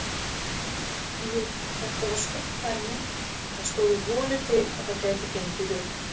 Jú, þetta var stórt dæmi en það stóðu vonir til að það gæti gengið upp.